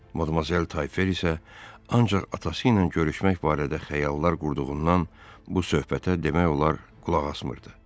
Madamuzel Tayfer isə ancaq atası ilə görüşmək barədə xəyallar qurduğundan bu söhbətə demək olar qulaq asmırdı.